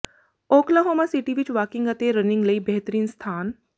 Oklahoma City ਵਿੱਚ walking ਅਤੇ running ਲਈ ਬਿਹਤਰੀਨ ਸਥਾਨ